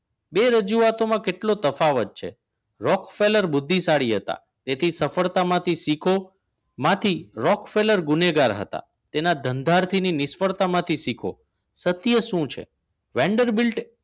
બે રજૂઆતમાં કેટલો તફાવત છે રોક ફેલર બુદ્ધિશાળી હતા તેથી સફળતા માંથી શીખો માંથી રોક ફેલર ગુનેગાર હતા તેના ધંધાથી ની નિષ્ફળતા માંથી શીખો સત્ય શું છે વેન્ડર બેલ્ટ